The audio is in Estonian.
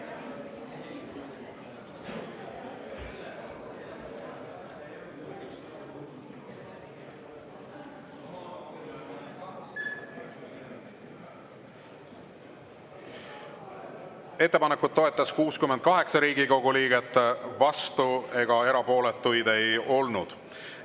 Ettepanekut toetas 68 Riigikogu liiget, vastuolijaid ega erapooletuid ei olnud.